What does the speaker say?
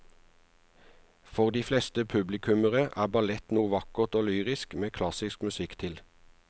For de fleste publikummere er ballett noe vakkert og lyrisk med klassisk musikk til.